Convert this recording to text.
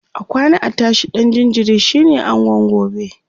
akwana a tashi ɗan jinjiri shine angon gobe